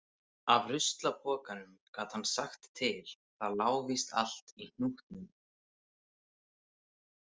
Af ruslapokanum gat hann sagt til Það lá víst allt í hnútnum.